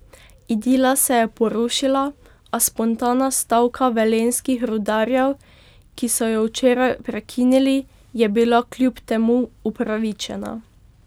Idila se je porušila, a spontana stavka velenjskih rudarjev, ki so jo včeraj prekinili, je bila kljub temu upravičena.